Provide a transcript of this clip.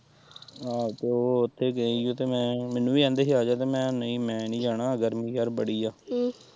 ਆਹੋ ਤੇ ਉਹ ਉੱਥੇ ਗਈ ਹੀ ਮੈਂ ਮੈਨੂੰ ਵੀ ਕਹਿੰਦੇ ਹੀ ਆ ਜਾ ਤੇ ਮੈਂ ਕਿਹਾ ਨਈ ਮੈਂ ਨੀ ਜਾਣਾ ਗਰਮੀ ਯਾਰ ਬੜੀ ਏ।